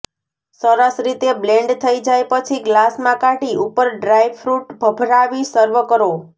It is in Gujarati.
સરસ રીતે બ્લેન્ડ થઈ જાય પછી ગ્લાસમાં કાઢી ઉપર ડ્રાયફ્રુટ ભભરાવી સર્વ કરો